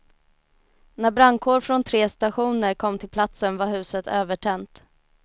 När brandkår från tre stationer kom till platsen var huset övertänt.